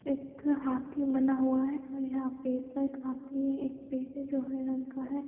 एक हाथी बना हुआ है और यहाँ पे काफी रंग का है।